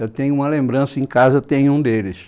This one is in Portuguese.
Eu tenho uma lembrança, em casa eu tenho um deles.